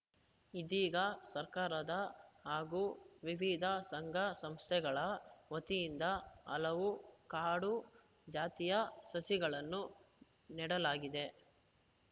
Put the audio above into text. ಇದೀಗ ಸರ್ಕಾರದ ಹಾಗೂ ವಿವಿಧ ಸಂಘ ಸಂಸ್ಥೆಗಳ ವತಿಯಿಂದ ಹಲವು ಕಾಡು ಜಾತಿಯ ಸಸಿಗಳನ್ನು ನೆಡಲಾಗಿದೆ